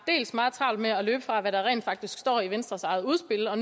meget travlt med at løbe fra hvad der rent faktisk står i venstres eget udspil og